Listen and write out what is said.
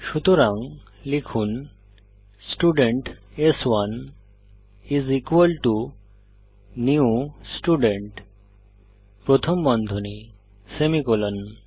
সুতরাং লিখুন স্টুডেন্ট স্1 is equal to new student প্রথম বন্ধনী সেমিকোলন